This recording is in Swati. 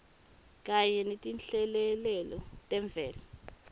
kanye netinhlekelele temvelo